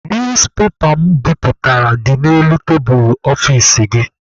Newspepa mụ biputere dị n'elu tebulu ọfici gị.